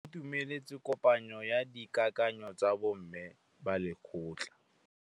Ba itumeletse kôpanyo ya dikakanyô tsa bo mme ba lekgotla.